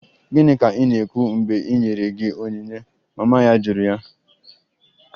Gịnị ka ị na-ekwu mgbe e nyere gị onyinye? Mama ya jụrụ ya